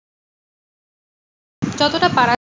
যতটা পারার।